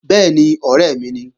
Bẹ́ẹ̀ni, ọ̀rẹ́ mi ni